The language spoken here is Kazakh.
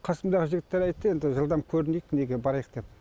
қасымдағы жігіттер айтты енді жылдам көрінейік неге барайық деп